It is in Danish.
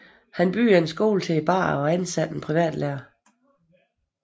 Han byggede en skole til børnene og ansatte en privatlærer